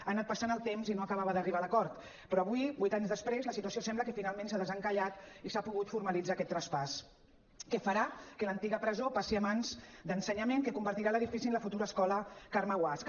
ha anat passant el temps i no acabava d’arribar l’acord però avui vuit anys després la situació sembla que finalment s’ha desencallat i s’ha pogut formalitzar aquest traspàs que farà que l’antiga presó passi a mans d’ensenyament que convertirà l’edifici en la futura escola carme guasch